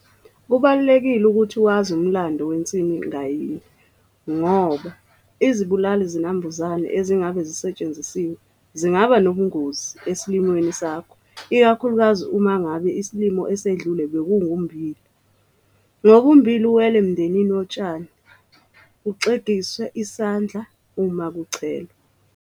Kubalulekile ukuthi wazi umlando wensimu ngayinye ngoba izibulali zinambuzane ezingabe zisetshenzisiwe zingaba nobungozi esilimweni sakho ikakhulukazi uma ngabe isilimo esedlule bokungummbila. Ngoba ummbila uwela emndenini wotshani, kungaxegiswa isandla uma kuchelelwa.